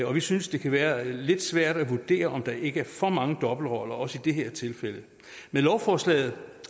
vi synes det kan være lidt svært at vurdere om der ikke er for mange dobbeltroller også i det her tilfælde med lovforslaget